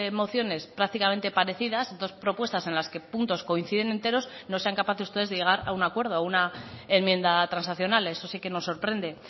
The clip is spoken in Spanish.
mociones prácticamente parecidas dos propuestas en las que puntos coinciden enteros no sean capaces ustedes de llegar a un acuerdo a una enmienda transaccional eso sí que nos sorprende